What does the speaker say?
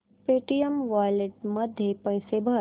Paytm wallet मध्ये पैसे भर